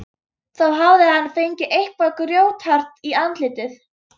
Þá hafði hann fengið eitthvað grjóthart í andlitið.